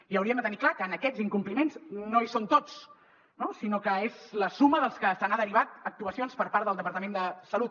i hauríem de tenir clar que en aquests incompliments no hi són tots no sinó que és la suma dels que se n’han derivat actuacions per part del departament de salut